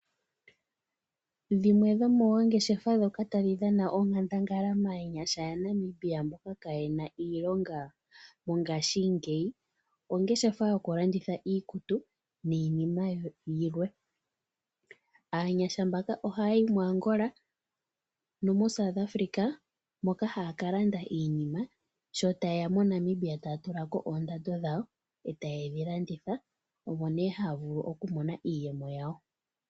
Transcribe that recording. Dhimwe dhomoongeshefa ndhoka tadhi dhana onkandangala maanyasha yaNamibia mboka kaaye na iilonga mongashingeyi, ongeshefa yokulanditha iikutu, niinima yilwe. Aanyasha mbaka ohaya yi muAngola nomuSouth Africa, moka haya ka landa iinima, sho taye ya moNamibia taya tula ko oondando dhawo, e taye dhi landitha, omo nduno haya vulu okumona iiyemo yawo.